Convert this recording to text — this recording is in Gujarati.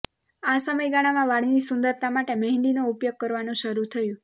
આ સમયગાળામાં વાળની સુંદરતા માટે મહેંદીનો ઉપયોગ કરવાનું શરૃ થયું